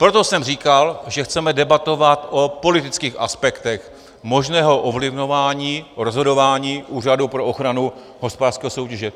Proto jsem říkal, že chceme debatovat o politických aspektech možného ovlivňování, rozhodování Úřadu pro ochranu hospodářské soutěže.